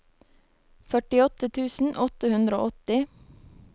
førtiåtte tusen åtte hundre og åtti